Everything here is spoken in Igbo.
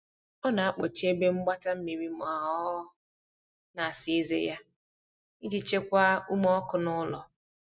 ọ na akpochi ebe mgbata mmiri ma ọ na asa eze ya, ijii chekwaa ume ọkụ n'ulo